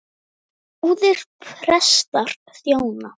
Báðir prestar þjóna.